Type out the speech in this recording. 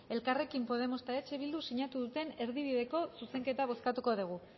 elkarrekin podemos eta eh bilduk sinatu duten erdibideko zuzenketa bozkatuko dugu